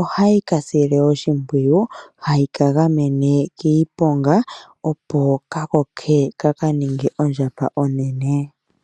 ohayi ka sile oshimpwiyu, hayi ka gamene kiiponga opo ka koke ka ka ninge ondjamba onene.